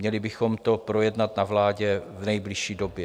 Měli bychom to projednat na vládě v nejbližší době.